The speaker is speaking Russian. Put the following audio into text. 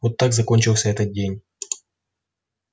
вот так закончился этот день